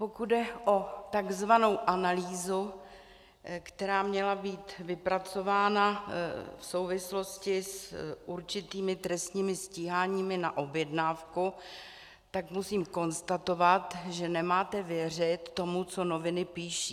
Pokud jde o tzv. analýzu, která měla být vypracována v souvislosti s určitými trestními stíháními na objednávku, tak musím konstatovat, že nemáte věřit tomu, co noviny píší.